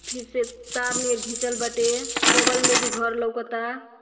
फिर से तार नियर घिचल बाटे बगल में भी घर लौकता।